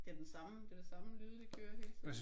Det er den samme. Det er det samme lyde de kører hele tiden